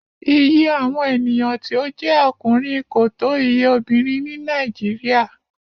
Iye awọn eniyan ti o je ọkunrin ko to iye obinrin ni Nàìjíríà